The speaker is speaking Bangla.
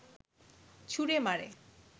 ছুড়ে মারে